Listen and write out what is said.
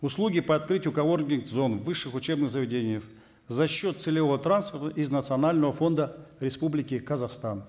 услуги по открытию коворкинг зон в высших учебных заведениях за счет целевого из национального фонда республики казахстан